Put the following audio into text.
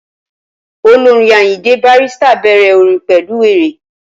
Olórin Ayinde Barrister bẹ̀rẹ̀ orin pẹ̀lú wéré